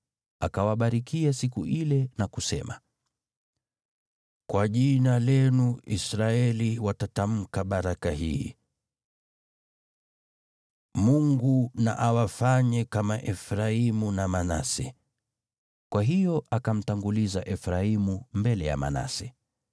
Akawabarikia siku ile na kusema, “Kwa jina lenu Israeli watatamka baraka hii: ‘Mungu na awafanye kama Efraimu na Manase.’ ” Kwa hiyo akamtanguliza Efraimu mbele ya Manase.